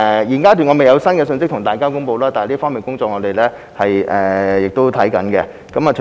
現階段我未有新的信息可以向大家公布，但我們正在進行檢視。